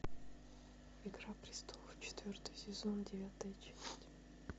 игра престолов четвертый сезон девятая часть